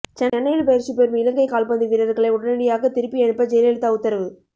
சென்னையில் பயிற்சி பெறும் இலங்கை கால்பந்து வீரர்களை உடனடியாக திருப்பியனுப்ப ஜெயலலிதா உத்தரவு